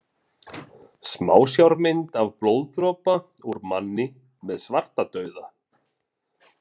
Smásjármynd af blóðdropa úr manni með svartadauða.